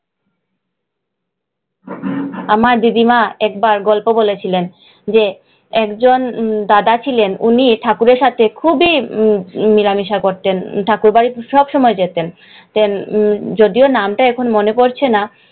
আমার দিদিমা একবার গল্প বলেছিলেন, একজন দাদা ছিলেন, উনি ঠাকুরের সাথে খুবই মেলামেশা করতেন। ঠাকুর বাড়িতে সব সময় যেতেন, যদিও নামটা এখন মনে পড়ছে না।